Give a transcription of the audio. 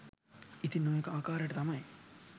ඉතින් ඔය ආකාරයට තමයි